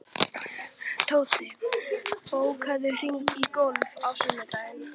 Tóti, bókaðu hring í golf á sunnudaginn.